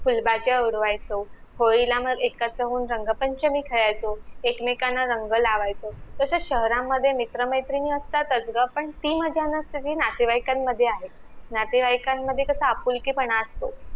फुलबाजा उडवायचो होळीला मग एकत्र होऊन रंग पंचमी खेळायचो एक मेकांना रंग लावायचो तसे शहरामध्ये मित्र मैत्रीणी असतातच ग पण ती मजा नसते जी नातेवाईकांमध्ये आहे नातेवाईकांमध्ये कस आपुलकी पणा असतो